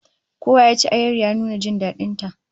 Kowa ya ci ayar, ya nuna jin dadin ta